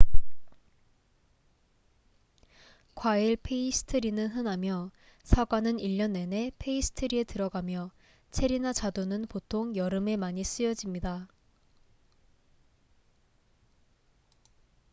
과일 페이스트리는 흔하며 사과는 1년 내내 페이스트리에 들어가며 체리나 자두는 보통 여름에 많이 쓰여집니다